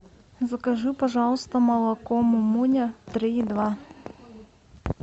закажи пожалуйста молоко мумуня три и два